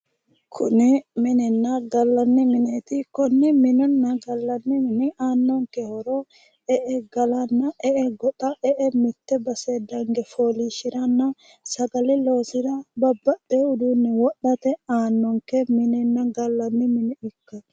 Kuni minenna gallanni mineti, kone minenna gallanni mini aano horo e"e gallanna e"e goxa ,e"e mite basseni dange foolishiranna sagale loosira babbaxeyo uduune wodhate aanonke minenna gallanni mine ikkanno